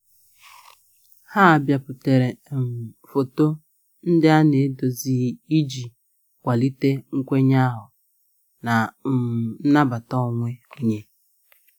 Ha biputere um foto ndị a na-edozighị iji kwalite nkwenye ahụ na um nnabata onwe onye.